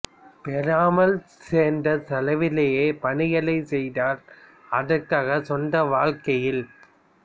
பெறாமல் செர்ந்த செலவிலேயே பணிகள் செய்தார் அதற்காக சொந்த வாழ்க்கையில்